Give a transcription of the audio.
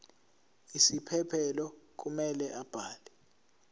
isiphephelo kumele abhale